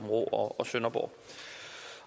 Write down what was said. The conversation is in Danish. sønderborg